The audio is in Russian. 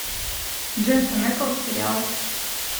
дженсен эклс сериал